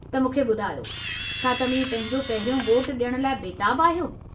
त मूंखे ॿुधायो, छा तव्हीं पंहिंजो पहिरियों वोटु ॾियण लाइ बेताबु आहियो?